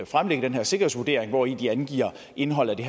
fremlægge den her sikkerhedsvurdering hvori de angiver indholdet i